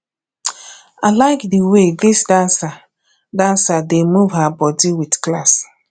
i like the um way dis dancer dancer dey move her body with class